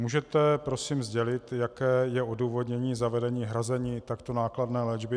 Můžete prosím sdělit, jaké je odůvodnění zavedení hrazení takto nákladné léčby?